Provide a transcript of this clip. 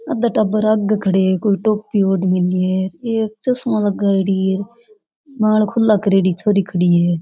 आधा टाबर आगे खडे है कोई टोपी ओड मेली है एक चस्मा लगायेडी है बाल खुला करेड़ी छोरी खडी है।